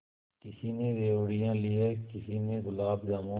किसी ने रेवड़ियाँ ली हैं किसी ने गुलाब जामुन